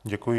Děkuji.